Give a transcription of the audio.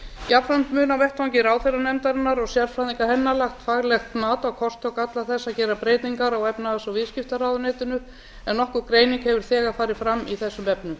jafnframt mun á vettvangi ráðherranefndarinnar og sérfræðinga hennar lagt faglegt mat á kosti og galla þess að gera breytinga á efnahags og viðskiptaráðuneytinu en nokkur greining hefur þegar farið fram í þessum efnum